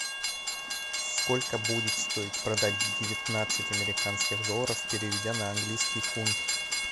сколько будет стоить продать девятнадцать американских долларов переведя на английский фунт